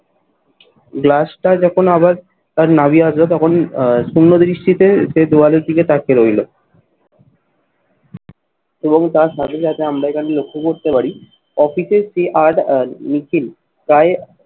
গ্লাসটা যখন আবার তার নাভি আসবে তখন শূন্য দৃষ্টিতে সে দেওয়ালের দিকে তাকিয়ে রইলো। এবং তার সাথে সাথে আমরা এখানে লক্ষ্য করতে পারি অফিসের সেই প্রায়